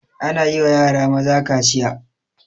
Ana yiwa yara maza kaciya